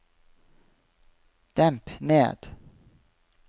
demp ned